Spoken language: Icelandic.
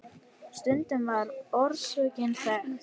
Stundum var orsökin þekkt.